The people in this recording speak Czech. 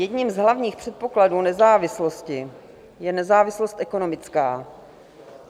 Jedním z hlavních předpokladů nezávislosti je nezávislost ekonomická.